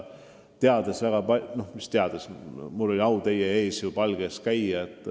Mul on olnud au teie palge ees käia.